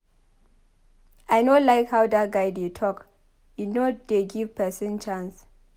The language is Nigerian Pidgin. I no like how dat guy dey talk he no dey give person chance.